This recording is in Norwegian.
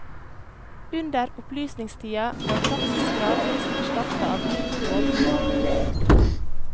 Under opplysningstida vart praksis gradvis erstatta av ny lovgivning.